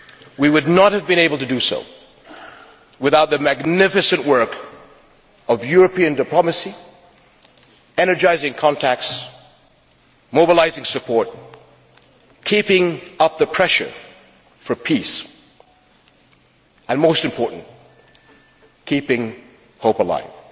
We would not have been able to do so without the magnificent work of European diplomacy, energising contacts, mobilising support, keeping up the pressure for peace and, most important, keeping hope alive.